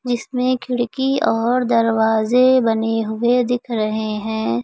जिसमें खिड़की और दरवाजे बने हुए दिख रहे हैं।